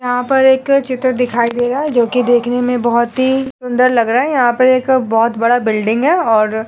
यहाँ पर एक चित्र दिखाई दे रहा हैं जो कि देखने में बहोत ही सुंदर लग रहा हैं। यहाँ पे एक बहोत बड़ा बिल्डिंग हैं और --